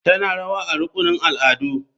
Tana rawa a rukunin al'adu.